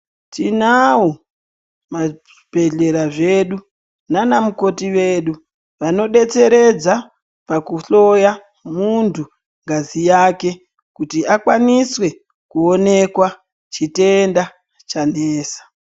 Tinavo mabhedhlera zvedu nana mukoti vedu vanobetseredza pakuhloya muntu ngazi yake. Kuti akwaniswe kuonekwa chitenda chanesa.